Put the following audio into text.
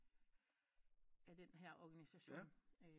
Den her orgination